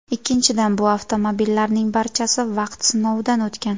Ikkinchidan, bu avtomobillarning barchasi vaqt sinovidan o‘tgan.